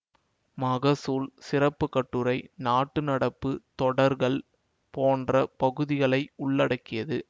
மகசூல் சிறப்பு கட்டுரை நாட்டு நடப்பு தொடர்கள் போன்ற பகுதிகளை உள்ளடக்கியது